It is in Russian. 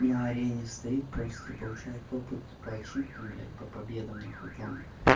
на арене стоит просто и получает опыт по ачивкам блять по победам нахуй там